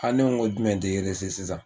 ne ko n ko jumɛn tɛ sisan